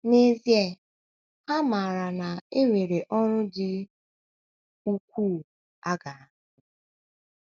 N’ezie, ha maara na e nwere ọrụ dị ukwuu a ga - arụ.